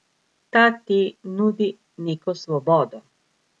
Ta ti nudi neko svobodo.